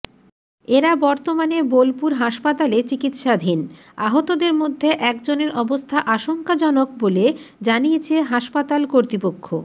এরা বর্তমানে বোলপুর হাসপাতালে চিকিৎসাধীন আহতদের মধ্যে একজনের অবস্থা আশঙ্কাজনক বলে জানিয়েছে হাসপাতাল কর্তৃপক্ষ